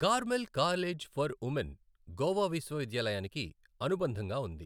Carmel college for women Goa విశ్వవిద్యాలయానికి అనుబంధంగా ఉంది.